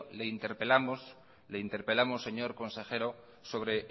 le interpelamos señor consejero sobre